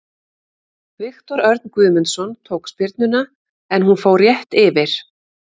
Viktor Örn Guðmundsson tók spyrnuna en hún fór rétt yfir.